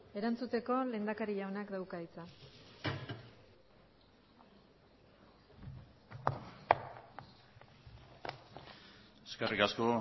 erantzuteko lehendakari jaunak dauka hitza eskerrik asko